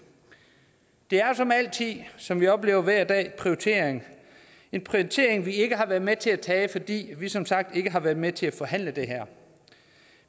det er som altid som vi oplever hver dag en prioritering en prioritering vi ikke har været med til at tage fordi vi som sagt ikke har været med til at forhandle det her